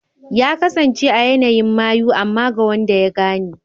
Ya kasance a yanayin mayu amma ga wanda ya gane.